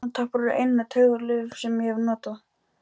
Eyrnatappar eru eina taugalyf sem ég hef notað.